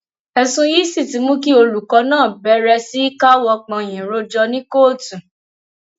ẹsùn yìí sì ti mú kí olùkọ náà bẹrẹ sí í káwọ pọnyìn rojọ ní kóòtù